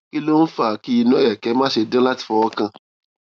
kí ló ń fa kí inu ereke mase dan lati fowokan